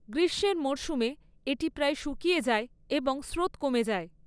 গ্রীষ্মের মরসুমে এটি প্রায় শুকিয়ে যায় এবং স্রোত কমে যায়।